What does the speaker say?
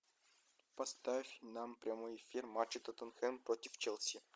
поставь нам прямой эфир матча тоттенхэм против челси